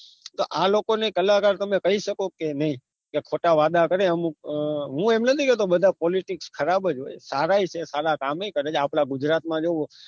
તો આ લોકોને કલાકાર તમે કહી શકો કે નહી કે ખોટા વાદા કરે અમુક અ હું એમ નથી કે બધા politic ખરાબ જ હોય સારાએ છે સારા કામ એ કરે છે આપના ગુજરાત માં જોવો